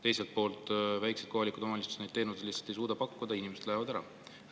Teiselt poolt väikesed kohalikud omavalitsused lihtsalt ei suuda teenuseid pakkuda ja inimesed lähevadki ära.